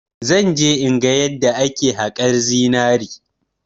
Zan je in ga yadda ake haƙar zinari.